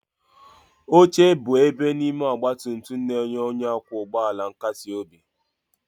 Oche bụ ebe n'ime ọgba tum tum na-enye onye ọkwọ ụgbọ ala nkasi obi.